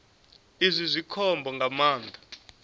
izwi zwi khombo nga maanḓa